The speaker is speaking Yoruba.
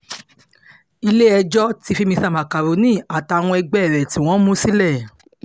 ilé-ẹjọ́ ti fi mr macaroni àtàwọn ẹgbẹ́ rẹ̀ tí wọ́n mú sílẹ̀